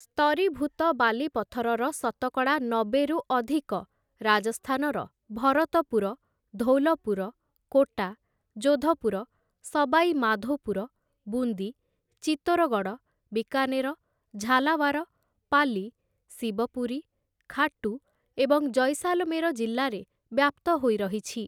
ସ୍ତରୀଭୂତ ବାଲିପଥରର ଶତକଡ଼ା ନବେରୁ ଅଧିକ ରାଜସ୍ଥାନର ଭରତପୁର, ଧୌଲପୁର, କୋଟା, ଜୋଧପୁର, ସବାଇ ମାଧୋପୁର, ବୁନ୍ଦୀ, ଚିତ୍ତୋରଗଡ଼, ବିକାନେର, ଝାଲାୱାର, ପାଲି, ଶିବପୁରୀ, ଖାଟୂ ଏବଂ ଜୈସାଲମେର ଜିଲ୍ଲାରେ ବ୍ୟାପ୍ତ ହୋଇରହିଛି ।